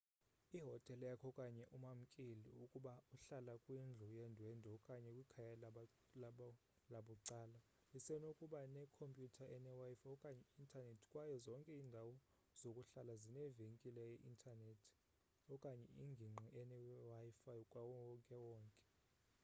ihotele yakho okanye umamkeli ukuba uhlala kwindlu yendwendwe okanye kwikhaya labucala lisenokuba ne compyutha ene wifi okanye i intaneti kwaye zonke indawo zokuhlala zinevenkile ye intaneti okanye ingingqi ene wifi kawonke wonke